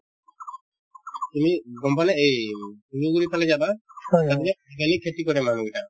তুমি গম পোৱানে এই তুমি যদি এইফালে যাবা তাতে যে organic খেতি কৰে মানুহ বিলাক